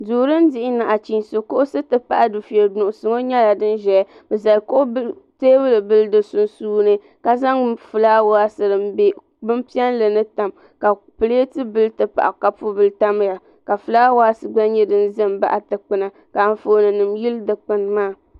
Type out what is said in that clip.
Duu dini dihi naɣichisi kuɣusi ti pahi dufɛya nusi ŋɔ nyɛla dini zaya bi zali tɛɛbuli bili di sunsuuni ka zaŋ flawaasi dini bɛ bini piɛlli ni tam ka pilati bila ti pahi kapu bila tamiya ka flawaasi gba nyɛ dini za n baɣi dukpuni ka anfooni yili dukpuni maa.